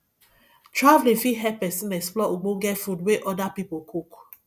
traveling fit help persin explore ogbonge food wey other pipo cook